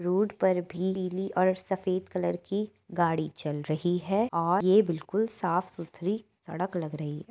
road पर भी नीली और सफेद कलर की गाड़ी चल रही है और ये बिलकुल साफ सुथरी सड़क लग रही --